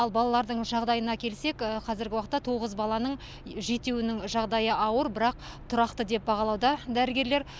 ал балалардың жағдайына келсек қазіргі уақытта тоғыз баланың жетеуінің жағдайы ауыр бірақ тұрақты деп бағалауда дәрігерлер